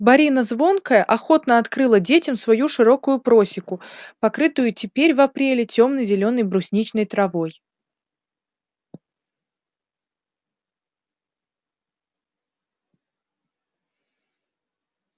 борина звонкая охотно открыла детям свою широкую просеку покрытую и теперь в апреле темно-зелёной брусничной травой